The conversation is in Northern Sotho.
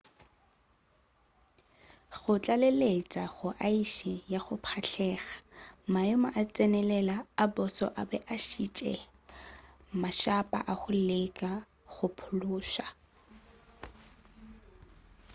go tlaleletša go aese ya go pšhatlega maemo a go tsenelela a boso a be a šitiša matshapa a go leka go phološa